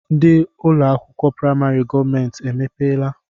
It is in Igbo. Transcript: Ndị ụlọakwụkwọ praịmarị gọọmenti emepeela?